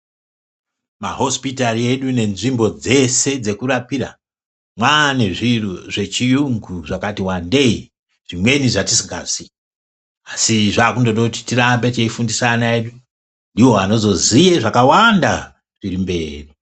Mahosipitari edu nenzvimbo dzese dzekurapira mwane zvinhu zvechiyungu zvakati wandei zvimweni zvetisinga ziyi asi zvakude kuti tirambe teifundisa ana edu ndiwo anozoziya zvakawanda zviri mberi.